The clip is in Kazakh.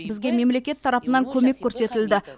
бізге мемлекет тарапынан көмек көрсетілді